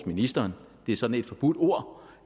ministeren det er sådan et forbudt ord